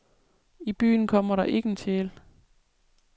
I byerne kommer der ikke en sjæl.